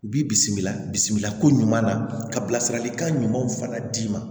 U b'i bisimila bisimilako ɲuman na ka bilasiralikan ɲumanw fana d'i ma